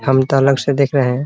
हम त अलग से देख रहे हैं ।